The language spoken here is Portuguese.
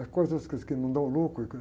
As coisas que não dão lucro.